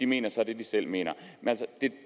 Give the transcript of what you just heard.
mener så det de selv mener det er